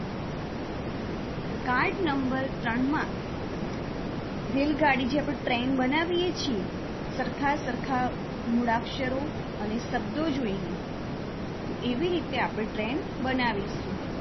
card Number ત્રણમાં રેલગાડી જે આપણે ટ્રેન બનાવીએ છીએ સરખા સરખા મૂળાક્ષરો અને શબ્દો જોઈને તો એવી રીતે આપણે ટ્રેન બનાવીશું.